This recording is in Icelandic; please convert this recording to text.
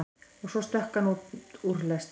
Og svo stökk hann út úr lestinni.